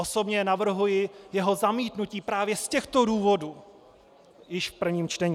Osobně navrhuji jeho zamítnutí právě z těchto důvodů již v prvním čtení.